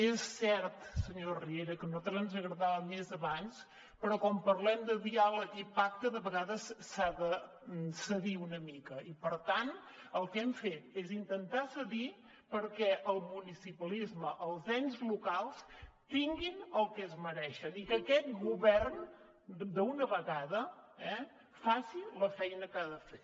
és cert senyor riera que a nosaltres ens agradava més abans però quan parlem de diàleg i pacte de vegades s’ha de cedir una mica i per tant el que hem fet és intentar cedir perquè el municipalisme els ens locals tinguin el que es mereixen i que aquest govern d’una vegada eh faci la feina que ha de fer